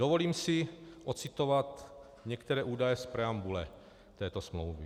Dovolím si ocitovat některé údaje z preambule této smlouvy.